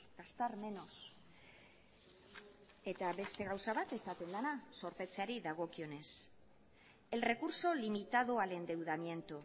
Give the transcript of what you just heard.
gastar menos eta beste gauza bat esaten dena zorpetzeari dagokionez el recurso limitado al endeudamiento